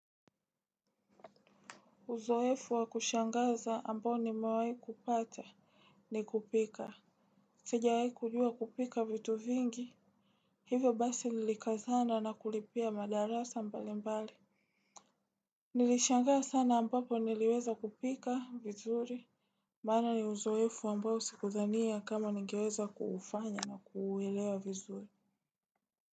Uzoefu wa kushangaza ambao nimewahi kuupata ni kupika sijawahi kujua kupika vitu vingi. Hivyo basi nilikazana na kulipia madarasa mbali mbali. Nilishangaa sana ambapo niliweza kupika vizuri maana ni uzoefu ambao sikudhania kama ningeweza kuufanya na kuuelewa vizuri.